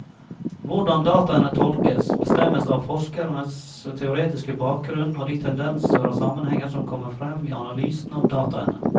Hvordan dataene tolkes, bestemmes av forskerens teoretiske bakgrunnen og de tendenser og sammenhenger som kommer frem i analysen av dataene.